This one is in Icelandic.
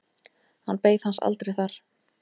Hann beið hans aldrei þar.